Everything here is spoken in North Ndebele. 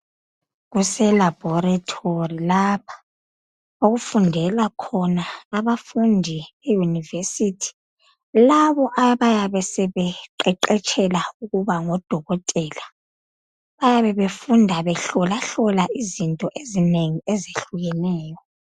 Kuse laboratory lapha okufundela khona abafundi e university labo abayabe sebeqeqetshela ukuba ngo dokotela bayabe befunda behlolahlola izinto ezinengi ezahlukeneyo.